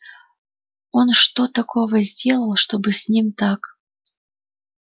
он что такого сделал чтобы с ним так